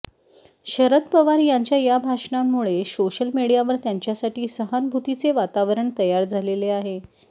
शरद पवार यांच्या या भाषणामुळे सोशल मिडीयावर त्यांच्यासाठी सहानुभूतीचे वातावरण तयार झालेले आहे